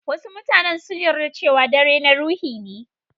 Wasu mutanen sun yarɗa cewa dare na ruhi ne.